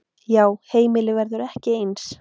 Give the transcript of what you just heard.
Já, heimilið verður ekki eins.